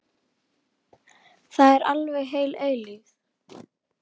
Það er alveg heil eilífð.